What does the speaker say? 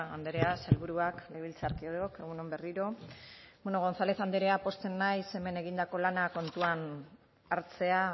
andrea sailburuak legebiltzarkideok egun on berriro gonzález andrea pozten naiz hemen egindako lana kontuan hartzea